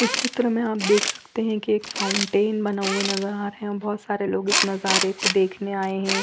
इस चित्र में आप देख सकते हैं कि एक फाउंटेन बना हुआ नजर आ रहा हैं बहोत सारे लोग इस नजारे को देखने आए है।